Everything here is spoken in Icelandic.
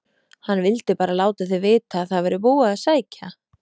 HANN VILDI BARA LÁTA ÞIG VITA AÐ ÞAÐ VÆRI BÚIÐ AÐ SÆKJA